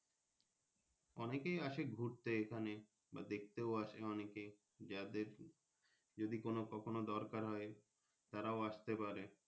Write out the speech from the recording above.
অনেকেই আসে ঘুরতে এখানে বা দেখতেও আসে অনেকেএ যাদের যদি কোনো কখনো দরকার হয় তারও আস্তে পারে।